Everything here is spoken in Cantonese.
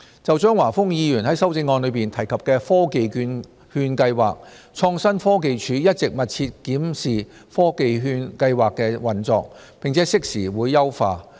就張華峰議員在修正案中提及的科技券計劃，創新科技署一直密切檢視科技券計劃的運作，並適時優化。